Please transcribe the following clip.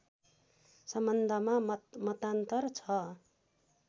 सम्बन्धमा मतमतान्तर छ